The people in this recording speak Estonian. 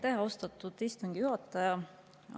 Aitäh, austatud istungi juhataja!